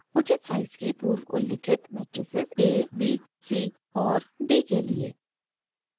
उचित साइज़ की पूर्वउल्लिखित मेट्राइसिस a b c और d के लिए